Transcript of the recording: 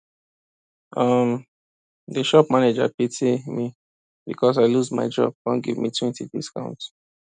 um the shop manager pity me because i lose my job come give metwentydiscount